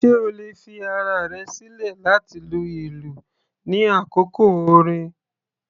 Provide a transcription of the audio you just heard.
Sé o lè fi ara rẹ̀ sílẹ̀ láti lu ìlú ní àkókò orin?